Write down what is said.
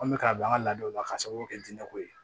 An bɛ k'a bila an ka ladaw la k'a sababu kɛ jinɛ ko ye